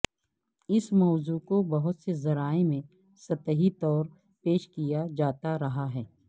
اس موضوع کو بہت سے ذرائع میں سطحی طور پیش کیا جاتا رہا ہے